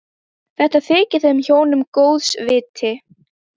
Þetta þykir þeim hjónum góðs viti.